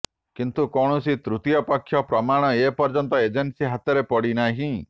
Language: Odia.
କିନ୍ତୁ କୌଣସି ତୃତୀୟପକ୍ଷ ପ୍ରମାଣ ଏ ପର୍ଯ୍ୟନ୍ତ ଏଜେନ୍ସି ହାତରେ ପଡ଼ିନାହିଁ